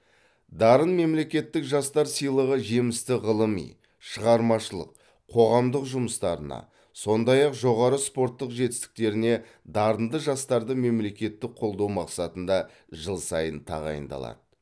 дарын мемлекеттік жастар сыйлығы жемісті ғылыми шығармашылық қоғамдық жұмыстарына сондай ақ жоғары спорттық жетістіктеріне дарынды жастарды мемлекеттік қолдау мақсатында жыл сайын тағайындалады